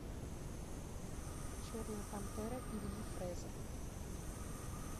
черная пантера ильи фрэза